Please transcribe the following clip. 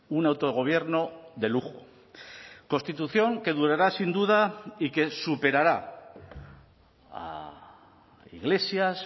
un autogobierno de lujo constitución que durará sin duda y que superará a iglesias